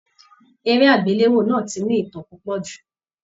Eré agbelewo náà tí ní ìtàn púpọ jù.